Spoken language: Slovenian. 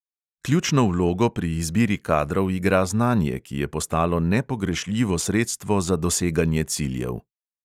Ključno vlogo pri izbiri kadrov igra znanje, ki je postalo nepogrešljivo sredstvo za doseganje ciljev.